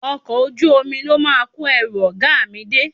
Ọkọ̀ ojú omi ló máa kó ẹrù ọ̀gá mi dé